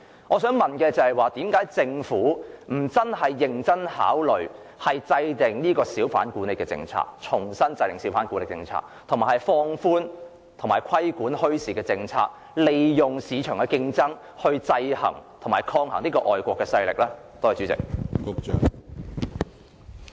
我想問政府為何不認真考慮重新制訂小販管理政策，以及考慮放寬相關政策和規管墟市，利用市場競爭來制衡和抗衡外國勢力？